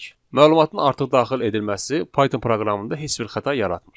Məlumatın artıq daxil edilməsi Python proqramında heç bir xəta yaratmır.